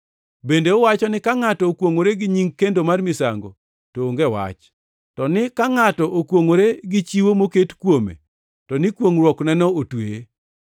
Bende uwacho ni, ‘Ka ngʼato okwongʼore gi nying kendo mar misango to onge wach, to ni ka ngʼato okwongʼore gi chiwo moket kuome to ni kwongʼruokneno otweye.’